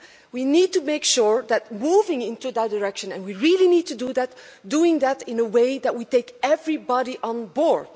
We need to make sure that moving in that direction and we really need to do that is done in such a way that takes everybody on board.